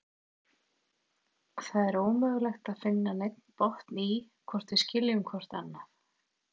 Það er ómögulegt að finna neinn botn í, hvort við skiljum hvort annað.